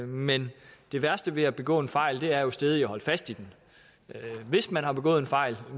men det værste ved at begå en fejl er jo stædigt at holde fast i den hvis man har begået en fejl